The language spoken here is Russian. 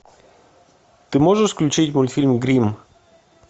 ты можешь включить мультфильм гримм